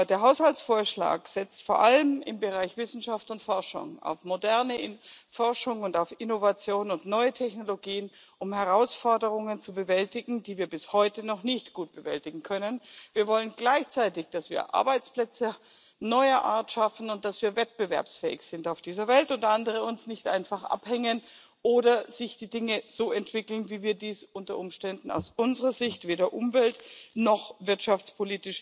Der Haushaltsvorschlag setzt vor allem im Bereich Wissenschaft und Forschung auf moderne Forschung, auf Innovationen und neue Technologien, um Herausforderungen zu bewältigen, die wir bis heute noch nicht gut bewältigen können. Wir wollen gleichzeitig, dass wir Arbeitsplätze neuer Art schaffen, dass wir wettbewerbsfähig sind auf dieser Welt und dass andere uns nicht einfach abhängen oder sich die Dinge so entwickeln, wie wir dies unter Umständen aus unserer Sicht weder umwelt noch wirtschafts